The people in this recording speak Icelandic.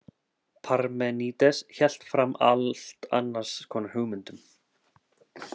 Parmenídes hélt fram allt annars konar hugmyndum.